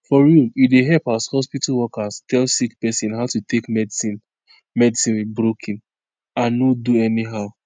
for real e dey help as hospitol workers tell sick pesin how to take medicine medicine with broken and no do anyhow